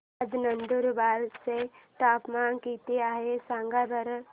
आज नंदुरबार चं तापमान किती आहे सांगा बरं